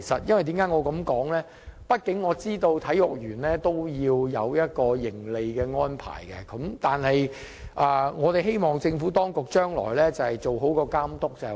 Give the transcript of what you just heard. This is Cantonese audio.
畢竟我知道體育園也要有盈利，但我希望政府當局將來做好監督工作。